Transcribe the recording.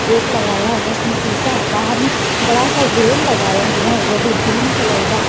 gate लगाया हुआ है उसमें एक शीशा है बाहर में बड़ा सा ग्रिल लगाया है वो भी ग्रीन कलर का --